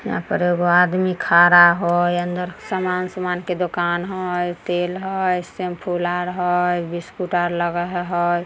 यहां पर अ एगो आदमी खड़ा हई अन्दर समान-समान के दुकान हई तेल हई सेम्पू ला र हई बिस्कुट आर लगे हे हई।